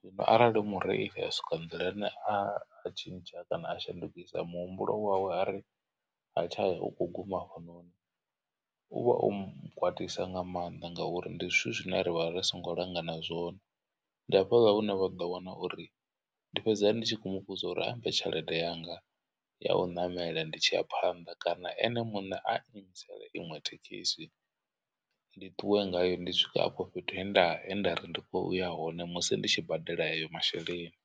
Zwino arali mureili a soko nḓilani a tshintsha kana a shandukisa muhumbulo wawe a ri ha tshaya ukho guma hafhanoni uvha o m kwatisa nga maanḓa ngauri ndi zwithu zwine ravha ri songo langana zwone. Ndi hafhaḽa hune vha ḓo wana uri ndi fhedza ndi tshi khou muvhudza uri ambe tshelede yanga ya u ṋamela ndi tshi ya phanḓa kana ene muṋe a iimisela iṅwe thekhisi. Ndi ṱuwe ngayo ndi swike afho fhethu he nda he nda ri ndi uya hone musi ndi tshi badela ayo masheleni.